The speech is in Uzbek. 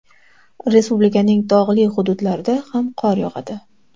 Respublikaning tog‘li hududlarida ham qor yog‘adi.